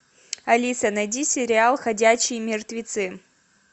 алиса найди сериал ходячие мертвецы